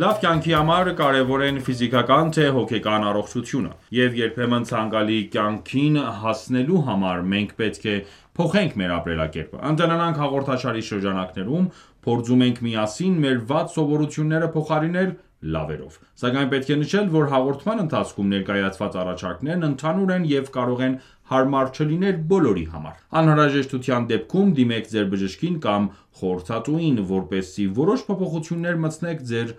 Լավ կյանքի համար կարևոր են թե ֆիզիկական թե հոգեկան առողջությունը: Եվ երբեմն ցանկալի կյանքին հասնելու համար մենք պետք է փոխենք մեր ապրելակերպը: «Ընտելանանք» հաղորդաշարի շրջանակներում փորձում ենք միասին մեր վատ սովորությունները փոխարինել լավերով: Սակայն պետք է նշել, որ հաղորդման ընթացքում ներկայացված առաջարկներն ընդհանուր են և կարող են հարմար չլինել բոլորի համար: Անհրաժեշտության դեպքում դիմեք ձեր բժշկին կամ խորհրդատուին, որպեսզի որոշ փոփոխություններ մտցնեք ձեր